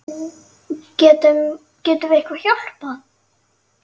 Getum, getum við eitthvað hjálpað?